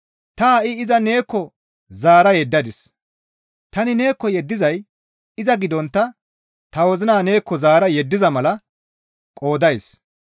Ta ha7i iza neekko zaara yeddadis; tani neekko yeddizay iza gidontta ta wozina neekko zaara yeddiza mala qoodays.